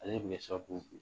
Ale de b'i ka sababu bin